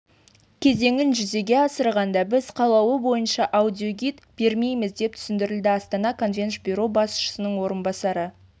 кезеңін жүзеге асырғанда біз қалауы бойынша аудиогид бермейміз деп түсіндірді астана конвенш бюро басшысының орынбасары